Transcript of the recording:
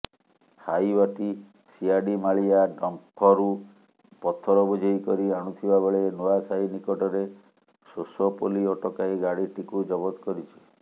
ହାଇୱାଟି ସିଆଡିମାଳିଆ ଡମ୍ପରୁ ପଥର ବୋଝେଇକରି ଆଣୁଥିବାବେଳେ ନୁଆସାହି ନିକଟରେ ସୋସୋ ପୋଲି ଅଟକାଇ ଗାଡିଟିକୁ ଜବଦ କରିଛି